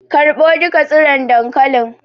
Karɓo duka tsiron dankalin